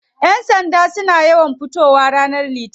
Yan sanda suna yawan fitowa ranar litinin.